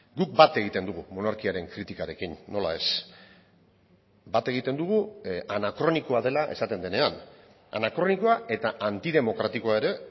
guk bat egiten dugu monarkiaren kritikarekin nola ez bat egiten dugu anakronikoa dela esaten denean anakronikoa eta antidemokratikoa ere